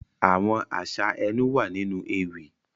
Àwọn aṣa ẹnu wa ninu ewi.